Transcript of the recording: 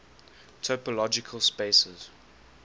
topological spaces